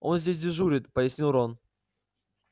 он здесь дежурит пояснил рон